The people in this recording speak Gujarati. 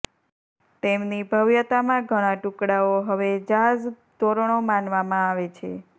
તેમની ભવ્યતામાં ઘણા ટુકડાઓ હવે જાઝ ધોરણો માનવામાં આવે છે